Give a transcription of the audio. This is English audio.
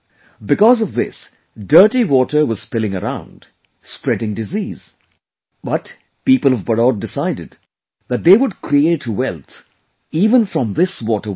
Because of this dirty water was spilling around, spreading disease, but, people of Badaut decided that they would create wealth even from this water waste